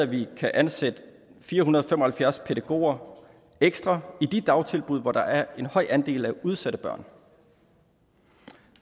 vi kan ansætte fire hundrede og fem og halvfjerds pædagoger ekstra i de dagtilbud hvor der er en høj andel af udsatte børn